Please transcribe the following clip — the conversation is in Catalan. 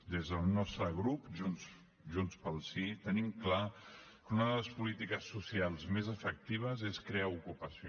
des del nostre grup junts pel sí tenim clar que una de les polítiques socials més efectives és crear ocupació